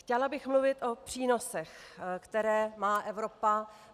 Chtěla bych mluvit o přínosech, které má Evropa.